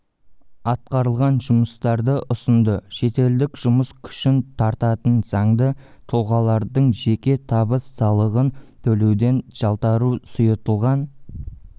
атқарылған жұмыстарды ұсынды шетелдік жұмыс күшін тартатын заңды тұлғалардың жеке табыс салығын төлеуден жалтару сұйытылған